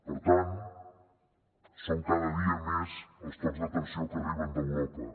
per tant són cada dia més els tocs d’atenció que arriben d’europa